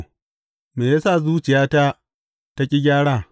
Me ya sa zuciyata ta ƙi gyara!